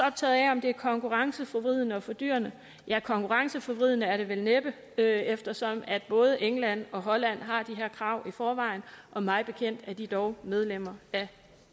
optaget af om det er konkurrenceforvridende og fordyrende ja konkurrenceforvridende er det vel næppe eftersom både england og holland har de her krav i forvejen og mig bekendt er de dog medlemmer af